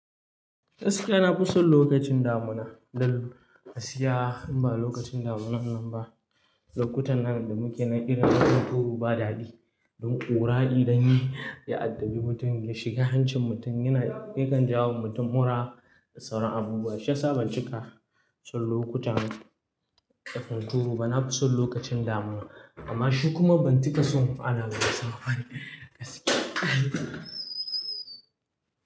Eh gaskiya, na fi son lokacin damuna. Dalili, gaskiya in ba lokacin damunan nan ba, lokutan nan da muke na irin na hunturu ba daɗi. Don ƙura dan yi ya addabi mutum, ya shiga hancin mutum, yana yakan jawo wa mutum mura da sauran abubuwa. Shiyasa ban cika son lokutan da hunturu ba na fi son lokacin damuna. Amma shi kuma ban cika son ana masa magani ba gaskiya.